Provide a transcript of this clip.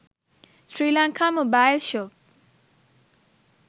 sri lanka mobile shop